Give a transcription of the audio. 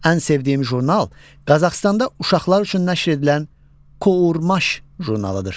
Ən sevdiyim jurnal Qazaxıstanda uşaqlar üçün nəşr edilən Kurmaş jurnalidir.